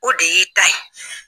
O de y'i ta ye.